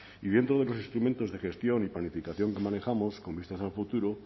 y dentro de los instrumentos de gestión y planificación que manejamos con vistas al futuro